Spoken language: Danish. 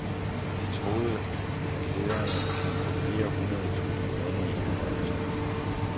De troede, at lederne kan få flere hundrede tusinde kroner i forhøjelse.